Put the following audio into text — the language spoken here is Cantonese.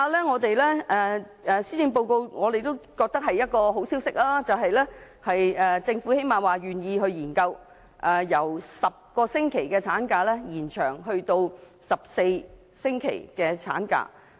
我們覺得施政報告發表了一個好消息，就是政府最低限度願意研究把產假由10星期延長至14星期。